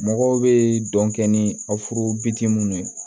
Mɔgɔw bɛ dɔn kɛ ni aw furu ye